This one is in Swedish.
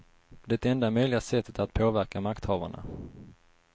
Det enda möjliga sättet att påverka makthavarna.